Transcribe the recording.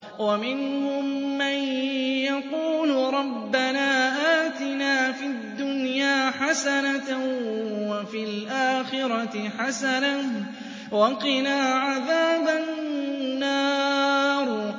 وَمِنْهُم مَّن يَقُولُ رَبَّنَا آتِنَا فِي الدُّنْيَا حَسَنَةً وَفِي الْآخِرَةِ حَسَنَةً وَقِنَا عَذَابَ النَّارِ